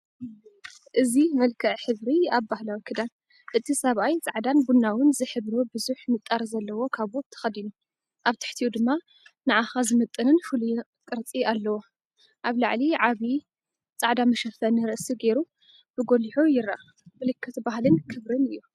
እዚ መልክዕ ክብሪ ኣብ ባህላዊ ክዳን! እቲ ሰብኣይ ጻዕዳን ቡናውን ዝሕብሩ ብዙሕ ንጣር ዘለዎ ካቦት ተኸዲኑ፡ኣብ ትሕቲኡ ድማ ንዓኻ ዝምጥንን ፍሉይን ቅርጺ ኣለዎ። ኣብ ላዕሊ ዓቢ ጻዕዳመ መሸፈኒ ርእሲ ገይሩ ብጐሊሑ ይርአ፣ ምልክት ባህልን ክብርን እዩ።